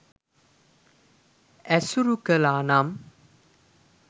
ඇසුරු කළා නම්